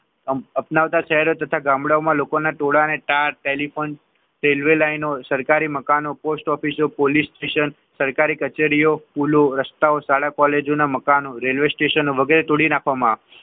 અપનાવતા શહેરો તથા ગામડાઓ માં લોકોના ટોળાને ટેલીફોન રેલ્વે લાઈનો સરકારી મકાનો પોસ્ટ ઓફિસ પોલીસ સ્ટેશન સરકારી કચેરીઓ રસ્તાઓ શાળા કોલેજો ના મકાનો રેલવે સ્ટેશન વગેરે તોડી નાખવામાં આવ્યા.